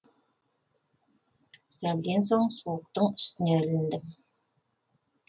сәлден соң суықтың үстіне іліндім